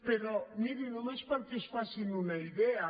però miri només perquè es facin una idea